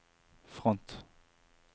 front